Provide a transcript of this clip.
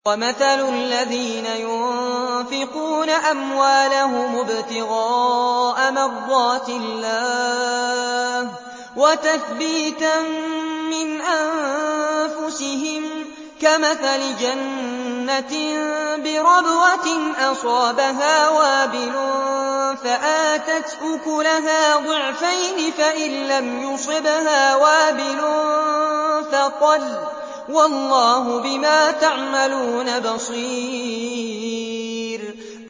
وَمَثَلُ الَّذِينَ يُنفِقُونَ أَمْوَالَهُمُ ابْتِغَاءَ مَرْضَاتِ اللَّهِ وَتَثْبِيتًا مِّنْ أَنفُسِهِمْ كَمَثَلِ جَنَّةٍ بِرَبْوَةٍ أَصَابَهَا وَابِلٌ فَآتَتْ أُكُلَهَا ضِعْفَيْنِ فَإِن لَّمْ يُصِبْهَا وَابِلٌ فَطَلٌّ ۗ وَاللَّهُ بِمَا تَعْمَلُونَ بَصِيرٌ